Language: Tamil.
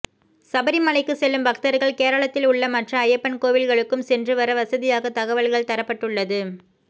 சபரிமலைக்கு செல்லும் பக்தர்கள் கேரளத்தில் உள்ள மற்ற ஐயப்பன் கோவில்களுக்கும் சென்று வர வசதியாக தகவல்கள் தரப்பட்டுள்ளது